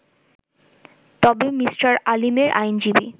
তবে মি. আলীমের আইনজীবী